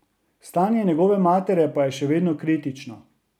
Stanje njegove matere pa je še vedno kritično.